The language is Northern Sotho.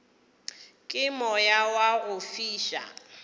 ke moya wa go fiša